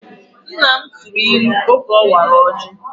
Nna m tụrụ ilu oge ọ wara ọjị